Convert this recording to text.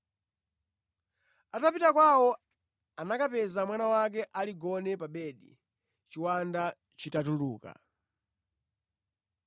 Atapita kwawo anakapeza mwana wake aligone pa bedi, chiwanda chitatuluka.